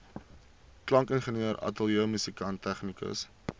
klankingenieur ateljeemusikant tegnikus